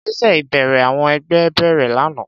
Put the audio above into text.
Ìgbésẹ̀ ìbẹ̀rẹ̀ àwọn ẹgbẹ́ bẹ̀rẹ̀ lánàá.